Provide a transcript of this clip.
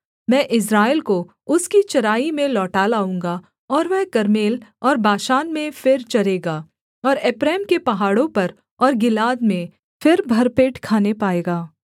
मैं इस्राएल को उसकी चराई में लौटा लाऊँगा और वह कर्मेल और बाशान में फिर चरेगा और एप्रैम के पहाड़ों पर और गिलाद में फिर भर पेट खाने पाएगा